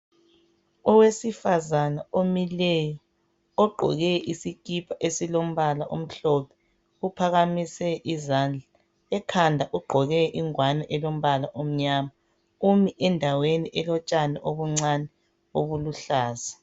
Owesifazana omileyo ogqoke isikipa esilombala omhlophe uphakamise izandla ekhanda ugqoke ingwane elombala omnyama umi endaweni elotshani obuncane obuluhlaza.